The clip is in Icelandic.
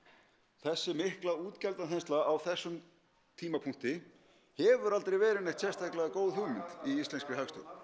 þessi mikla á þessum tímapunkti hefur aldrei verið neitt sérstaklega góð hugmynd í íslenskri hagstjórn